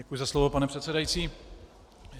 Děkuji za slovo, pane předsedající.